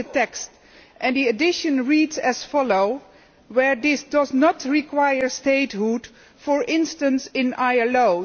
That addition reads as follows where this does not require statehood, for instance, in the ILO'.